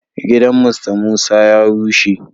Gidan "Mr Musa" ya rushe.